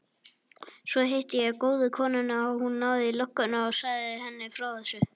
Svo hitti ég góðu konuna og hún náði í lögguna og sagði henni frá þessu.